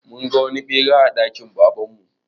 Mun ga wani ɓera a dakin Baban mu.